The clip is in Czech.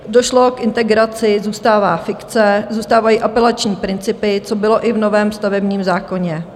Došlo k integraci, zůstává fikce, zůstávají apelační principy, co bylo i v novém stavebním zákoně.